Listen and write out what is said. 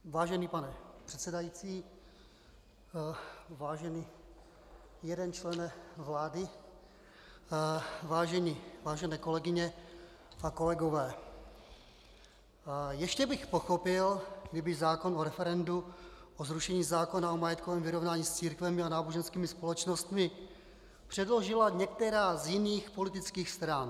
Vážený pane předsedající, vážený jeden člene vlády, vážené kolegyně a kolegové, ještě bych pochopil, kdyby zákon o referendu o zrušení zákona o majetkovém vyrovnání s církvemi a náboženskými společnostmi předložila některá z jiných politických stran.